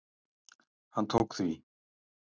Hann tók því.